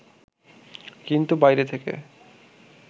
কিন্তু বাইরে থেকে